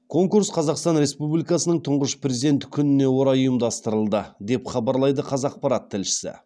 конкурс қазақстан республикасының тұңғыш президенті күніне орай ұйымдастырылды деп хабарлайды қазақпарат тілшісі